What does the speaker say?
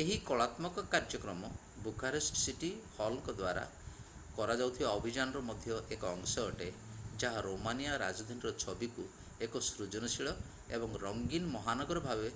ଏହି କଳାତ୍ମକ କାର୍ଯ୍ୟକ୍ରମ ବୁଖାରେଷ୍ଟ ସିଟି ହଲଙ୍କ ଦ୍ୱାରା କରାଯାଉଥିବା ଅଭିଯାନର ମଧ୍ୟ ଏକ ଅଂଶ ଅଟେ ଯାହା ରୋମାନିଆ ରାଜଧାନୀର ଛବିକୁ ଏକ ସୃଜନଶୀଳ ଏବଂ ରଙ୍ଗୀନ ମହାନଗର ଭାବେ